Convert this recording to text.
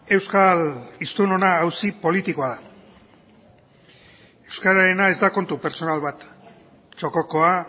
euskal hiztunena auzi politikoa da euskararena ez da kontu pertsonal bat txokokoa